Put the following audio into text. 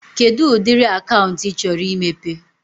Kedụ ụdịrị akaụntụ ị chọrọ imepe?